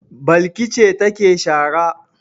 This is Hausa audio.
Balki ce take shara.